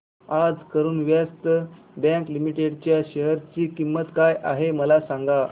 आज Karur Vysya bank limited च्या share ची किंमत काय आहे मला सांगा